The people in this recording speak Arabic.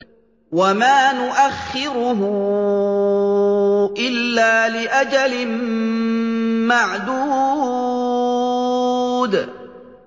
وَمَا نُؤَخِّرُهُ إِلَّا لِأَجَلٍ مَّعْدُودٍ